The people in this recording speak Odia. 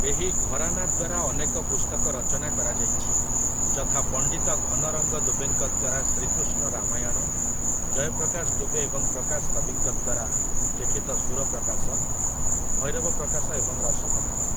ଏହି ଘରାନା ଦ୍ୱାରା ଅନେକ ପୁସ୍ତକ ରଚନା କରାଯାଇଛି, ଯଥା, ପଣ୍ଡିତ ଘନ ରଙ୍ଗ ଦୁବେଙ୍କ ଦ୍ଵାରା ଶ୍ରୀ କୃଷ୍ଣ ରାମାୟଣ, ଜୟ ପ୍ରକାଶ ଦୁବେ ଏବଂ ପ୍ରକାଶ କବିଙ୍କ ଦ୍ୱାରା ଲିଖିତ ସୁରପ୍ରକାଶ, ଭୈରବପ୍ରକାଶ ଏବଂ ରସପ୍ରକାଶ ।